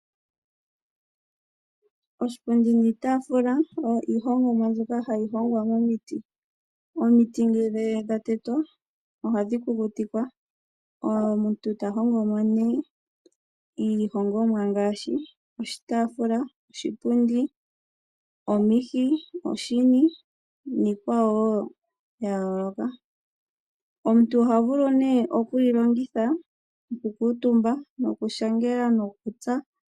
Oshipundi niitaafula oyo iihongomwa mbyoka hayi hongwa momiti. Omiti ngele dha tetwa ohadhi kukutikwa omuntu ta hongo mo nee iihongomwa ngaashi oshitaafula, oshipundi, omihi, oshini niikwawo wo ya yooloka. Omuntu oha vulu nee oku yilongitha okukuutumba, okushangela nokutsa.